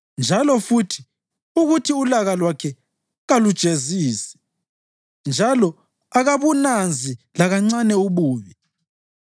njalo futhi, ukuthi ulaka lwakhe kalujezisi njalo akabunanzi lakancane ububi.